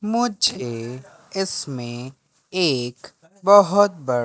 मुझे इसमें एक बहुत ब--